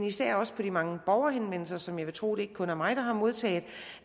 især også på de mange borgerhenvendelser som jeg vil tro ikke kun er mig der har modtaget